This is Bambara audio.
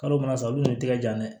Kalo mana sa olu tɛgɛ jan dɛ